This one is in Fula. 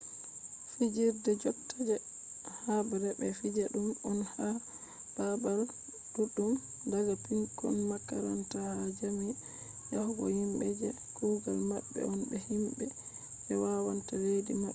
fijirde jotta je habre be fija dum on ha babal duddum daga pikkon makaranta ha jami’a yahugo himbe je kugal mabbe on be himbe je wannata leddi mabbe